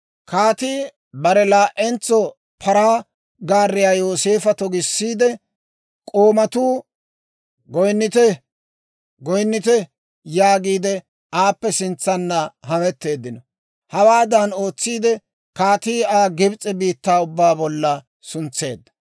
Kaatii bare laa"entso paraa gaariyaa Yooseefa togisseedda; k'oomatuu, «Goynnite! Goynnite!» yaagiidde aappe sintsanna hametteeddino. Hawaadan ootsiide, kaatii Aa Gibs'e biittaa ubbaa bollan suntseedda.